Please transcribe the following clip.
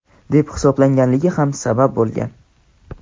deb hisoblaganligi ham sabab bo‘lgan.